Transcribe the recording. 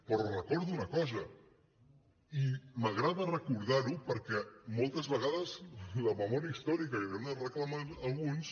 però els recordo una cosa i m’agrada recordar ho perquè moltes vegades la memòria històrica que reclamen alguns